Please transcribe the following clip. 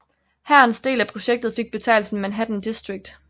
Hærens del af projektet fik betegnelsen Manhattan District